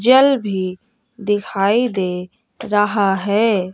जल भी दिखाई दे रहा है।